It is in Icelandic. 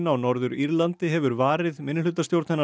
á Norður Írlandi hefur varið minnihlutastjórn hennar